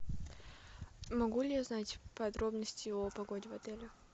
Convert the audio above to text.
могу ли я узнать подробности о погоде в отеле